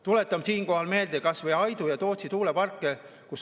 Tuletan siinkohal meelde kas või Aidu ja Tootsi tuuleparki.